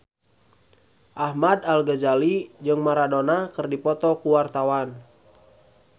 Ahmad Al-Ghazali jeung Maradona keur dipoto ku wartawan